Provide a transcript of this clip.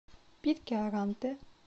питкяранте